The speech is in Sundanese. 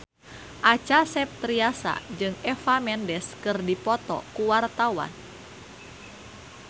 Acha Septriasa jeung Eva Mendes keur dipoto ku wartawan